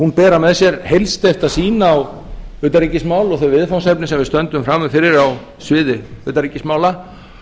hún bera með sér heilsteypta sýn á utanríkismál og þau viðfangsefni sem við stöndum frammi fyrir á sviði utanríkismála